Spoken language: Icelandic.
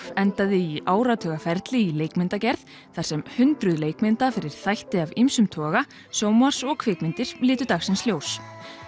endaði í áratuga ferli í leikmyndagerð þar sem hundruð leikmynda fyrir þætti af ýmsum toga sjónvarps og kvikmyndir litu dagsins ljós